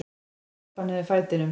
Ég stappa niður fætinum.